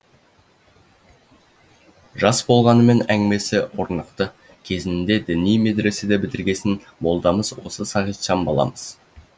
жас болғанымен әңгімесі орнықты кезінде діни медресе бітіргесін молдамыз осы сағитжан баламыз